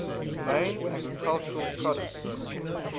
main agricultural products